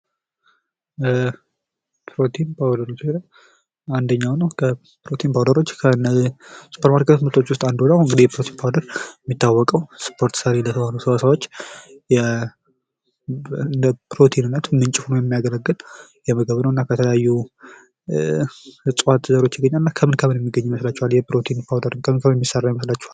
በፕሮቲን ፓዉደር አንደኛዉ ነዉ። ፕሮቲን ፓዉደሮች ከሱፐርማርኬት ምርቶች ዉስጥ አንዱ ነዉ። እንግዲህ ፕሮቲን ፓዉደር እንደሚታወቀዉ ለስፖርተኞች ሰሪ የሚባሉ ሰዉ ለፕሮቲንነት ምንጭ ሆነዉ የሚያገለግል ምግብ ነዉ። እና ከተለያዩ የእፅዋት ዘሮች ይገኛል። እና ይህ ፕሮቲን ፓዉደር ከምን ከምን ሊገኝ ይችላል?